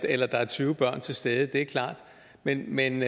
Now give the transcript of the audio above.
eller der er tyve børn til stede det er klart men men